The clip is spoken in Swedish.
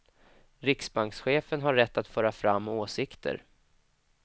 Riksbankschefen har rätt att föra fram åsikter.